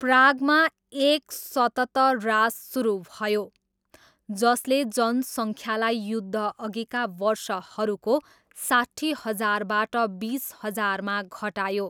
प्रागमा एक सतत ह्रास सुरु भयो जसले जनसङ्ख्यालाई युद्धअघिका वर्षहरूको साट्ठी हजारबाट बिस हजारमा घटायो।